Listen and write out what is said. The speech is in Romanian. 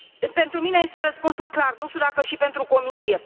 Pentru mine este răspunsul clar, nu știu dacă și pentru Comisie.